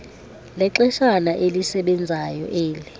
lexeshana elisebenzayo eli